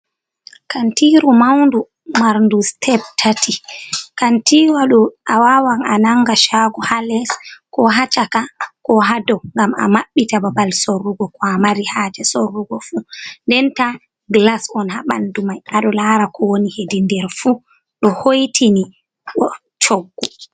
Kantiru maundu marndu steb tati, kantiru a wawan a nanga shago ha les ko ha caka ko ha dow ngam a mabbita babal sorrugo ko a mari haje sorrugo fu, nden ta glas on habandu mai ado lara ko woni hedi nder fu ɗo hoitini bo coggu.